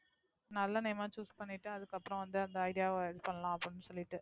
நல்ல name ஆ choose பண்ணிட்டு அதுக்கப்பறம் வந்து அந்த idea வ இது பண்ணலாம் அப்படின்னு சொல்லிட்டு,